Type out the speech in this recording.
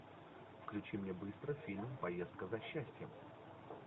включи мне быстро фильм поездка за счастьем